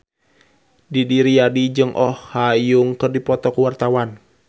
Didi Riyadi jeung Oh Ha Young keur dipoto ku wartawan